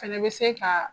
Fɛnɛ bɛ se ka